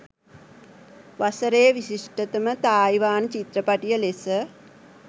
වසරේ විශිෂ්ටතම තායිවාන චිත්‍රපටිය ලෙස